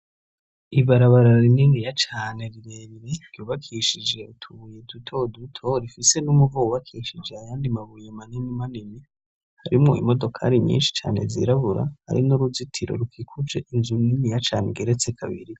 Ibarabara rininiya cane rirerire ryubakishije utubuye dutoduto rifise n'umuvo wubakishije ayandi mabuye maninimanini harimwo imodokari nyinshi cane zirabura hari n'uruzitiro rukikuje inzu niniya cane igeretse kabiri.